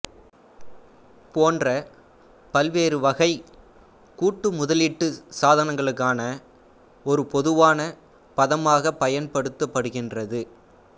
போன்ற பல்வேறு வகை கூட்டு முதலீட்டு சாதனங்களுக்கான ஒரு பொதுவான பதமாகப் பயன்படுத்தப்படுகிறது